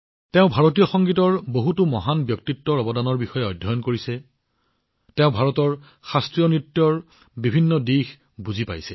তেওঁ ভাৰতীয় সংগীতৰ বহুতো মহান ব্যক্তিত্বৰ অৱদান অধ্যয়ন কৰিছে তেওঁ ভাৰতৰ শাস্ত্ৰীয় নৃত্যৰ বিভিন্ন দিশবোৰো ভালদৰে বুজি পাইছে